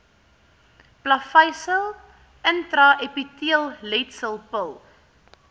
plaveisel intraepiteelletsel pil